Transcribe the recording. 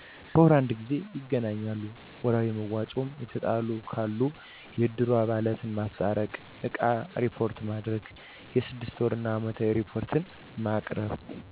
በወር አንድ ጊዜ ይገናኛሉ። ወርሀዊ መዋጮ የተጣሉ ካሉ የእድሩ አባላት ማስታረቅ እቃ እሪፖርት ማድረግ የስድስት ወር እና አመታዊ እሪፖርት ማቅረብ።